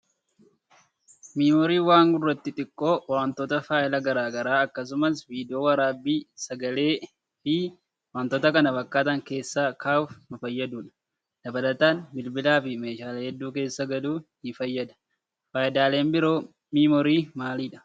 Miimooriin waan gurraattii xiqqoo wantoota faayila garaagaraa akkasumas viidiyoo waraabbii sagalee fi wantoota kana fakkaatan keessa kaawuuf nu fayyadudha. Dabalataan bilbilaa fi meeshaalee hedduu keessa galuun nu fayyada. Fayidaaleen biroo miimoorii maalidha?